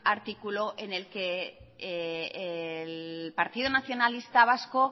artículo en el que el partido nacionalista vasco